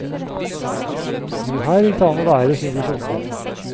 Jo, her gikk det an å være, syntes unggutten.